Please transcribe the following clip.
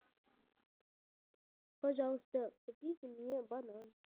пожалуйста купите мне банан